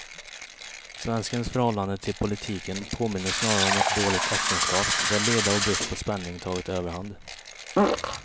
Svenskens förhållande till politiken påminner snarare om ett dåligt äktenskap, där leda och brist på spänning tagit överhand.